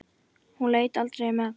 Hún leit aldrei um öxl.